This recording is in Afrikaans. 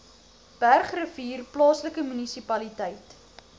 bergrivier plaaslike munisipaliteit